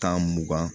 Tan mugan